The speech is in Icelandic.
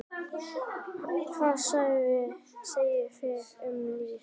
Hvað segið þið um lyf?